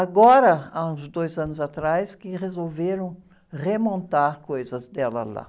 Agora, há uns dois anos atrás, que resolveram remontar coisas dela lá.